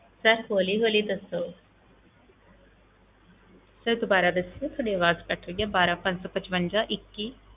Sir ਹੌਲੀ ਹੌਲੀ ਦੱਸੋ sir ਦੁਬਾਰਾ ਦੱਸਿਓ ਤੁਹਾਡੀ ਆਵਾਜ਼ ਕੱਟ ਰਹੀ ਆ, ਬਾਰਾਂ ਪੰਜ ਸੌ ਪਚਵੰਜਾ ਇੱਕੀ